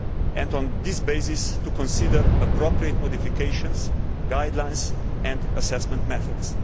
and, on this basis, it will consider appropriate modifications, guidelines and assessment methods.